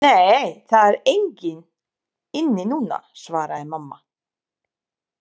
Nei, það er engin inni núna, svaraði mamma.